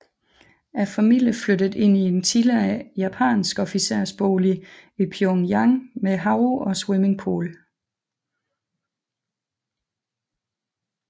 Familien flyttede ind i en tidligere japansk officersbolig i Pyongyang med have og svimmingpool